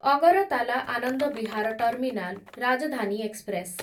Agartala Anand Vihar terminal Rajdhani express